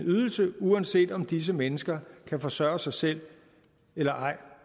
ydelse uanset om disse mennesker kan forsørge sig selv eller ej